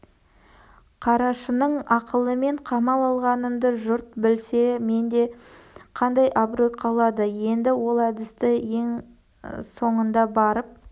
қарашының ақылымен қамал алғанымды жұрт білсе менде қандай абырой қалады енді ол әдісті ең соңында барып